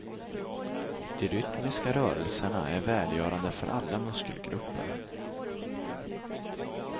De rytmiska rörelserna är välgörande för alla muskelgrupper.